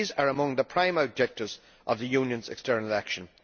These are among the prime objectives of the Union's external action.